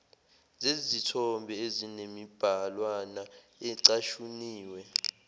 zezithombe ezinemibhalwana ecashuniwe